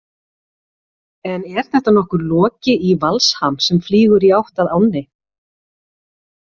En er þetta nokkuð Loki í valsham sem flýgur í átt að ánni?